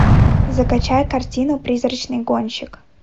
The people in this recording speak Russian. закачай картину призрачный гонщик